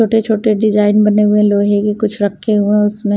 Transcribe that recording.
छोटे छोटे डिजाइन बने हुए हैं लोहे के कुछ रखे हुए हैं उसमें --